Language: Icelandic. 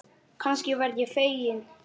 Kannski verð ég fegin.